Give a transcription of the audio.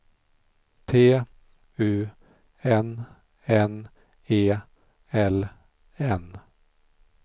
T U N N E L N